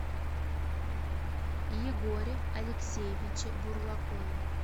егоре алексеевиче бурлакове